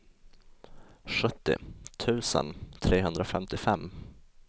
sjuttio tusen trehundrafemtiofem